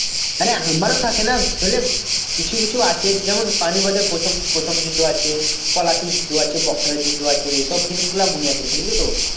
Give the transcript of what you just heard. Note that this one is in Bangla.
মানে আমারও থাকে না বুঝলি কিছু কিছু আছে যেমন পানিপথের প্রথম~ প্রথম যুদ্ধ আছে পলাশীর যুদ্ধ আছে বক্সারের যুদ্ধ আছে এসব জিনিসগুলো মনে আছে বুঝলি তো